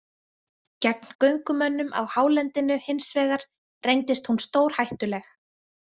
Gegn göngumönnum á hálendinu, hins vegar, reyndist hún stórhættuleg.